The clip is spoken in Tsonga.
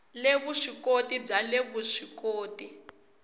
le vuswikoti bya le vuswikoti